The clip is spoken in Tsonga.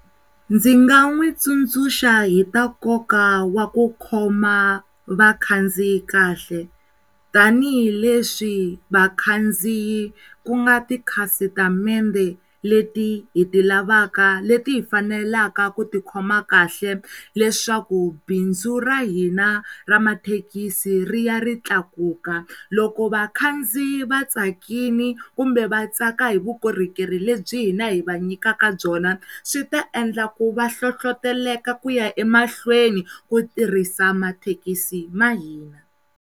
Ndzi nga n'wi tsundzuxa hi ta nkoka wa ku khoma vakhandziyi kahle tanihileswi vakhandziyi ku nga ti khasitamende leti hi ti lavaka leti hi faneleke ku tikhoma kahle leswaku bindzu ra hina ra mathekisi ri ya ri tlakuka loko vakhandziyi va tsakini kumbe vatsaka hi vukorhokeri lebyi hina hi va nyikaka byona swi ta endlaka ku va nhlohloteleka ku ya emahlweni ku tirhisa mathekisi ma hina.